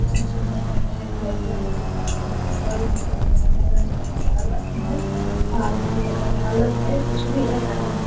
इतना सुंदर लग रहा है कि आपलोग भी देख सकते है ये घर बनाने वाले ढाल रखे है आ इ ढालल है कुछ भी है ढालल है।